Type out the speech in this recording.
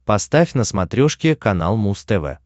поставь на смотрешке канал муз тв